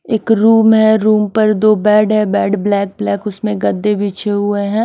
एक रूम है रूम पर दो बेड है बेड ब्लैक ब्लैक उसमें गद्धे बिछे हुए हैं।